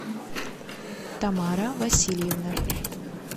тамара васильевна